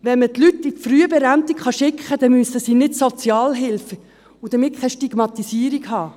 Wenn man die Leute in die Frühberentung schicken kann, müssen sie keine Sozialhilfe erhalten und damit keine Stigmatisierung erfahren.